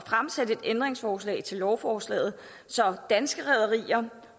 at stille et ændringsforslag til lovforslaget så danske rederier